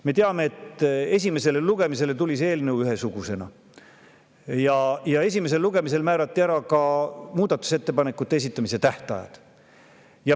Me teame, et esimesele lugemisele tuli see eelnõu ühesugusena ja esimesel lugemisel määrati ka muudatusettepanekute esitamise tähtajad.